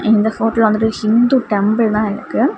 இந்த போட்டோல வந்துட்டு ஹிந்து டெம்பிள் தான் இருக்கு.